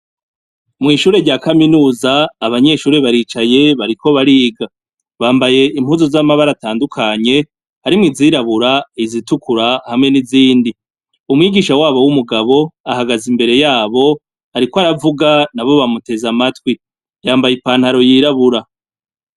Mw'ishure rya kaminuza, abanyeshure baricaye bariko bariga. Bambaye impuzu z'amabara atandukanye, harimwo izirubura, izitukura, hamwe n'izindi. Umwigisha wabo w'umugabo ahagaze imbere yabo. Ariko aravuga, nabo bamutez amatwi. Yambaye ipantaro yirabura.